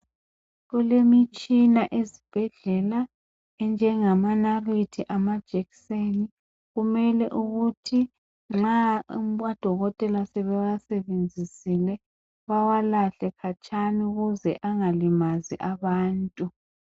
Kulemitshina ezibhedlela enjengamanalithi, amajekiseni, kumele ukuthi nxa odokotela sebewasebenzisile bewalahle khatshana ukuze angalimazi abantu.